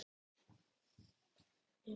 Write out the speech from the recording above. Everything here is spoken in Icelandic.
Fannst líka sjálfgefið að Nonni gengi fyrir.